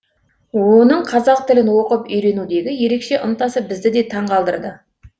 оның қазақ тілін оқып үйренудегі ерекше ынтасы бізді де таң қалдырды